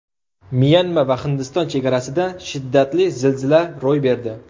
Myanma va Hindiston chegarasida shiddatli zilzila ro‘y berdi.